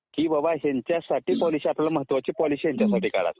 कि बाबा ह्यांच्यासाठी आपल्याला महत्वाची पॉलिसी